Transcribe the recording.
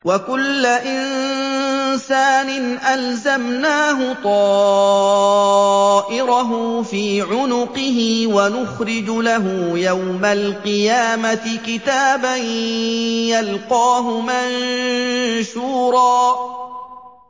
وَكُلَّ إِنسَانٍ أَلْزَمْنَاهُ طَائِرَهُ فِي عُنُقِهِ ۖ وَنُخْرِجُ لَهُ يَوْمَ الْقِيَامَةِ كِتَابًا يَلْقَاهُ مَنشُورًا